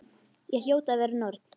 Ég hljóti að vera norn.